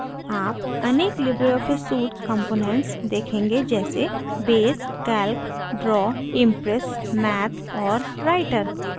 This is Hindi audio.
आप अनेक लिबरे ऑफिस suite components देखेंगे जैंसेbase calc draw impress math और writer